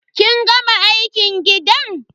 Kin gama aikin gidan?